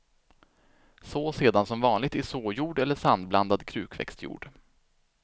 Så sedan som vanligt i såjord eller sandblandad krukväxtjord.